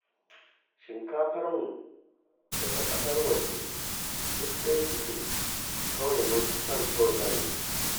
Shinkafarmu da ta ƙasar waje duk ɗaya suke, kawai mun fi son ta wajen ne